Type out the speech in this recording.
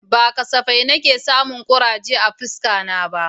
Ba kasafai nake samun kuraje a fuskata ba